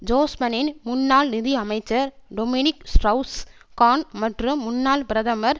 ஜோஸ்பனின் முன்னாள் நிதி அமைச்சர் டொமினிக் ஸ்ட்ரவுஸ் கான் மற்றும் முன்னாள் பிரதமர்